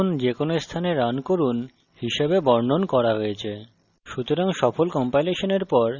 অতএব java একবার লিখুন যেকোনো স্থানে রান করুন হিসেবে বর্ণন করা হয়েছে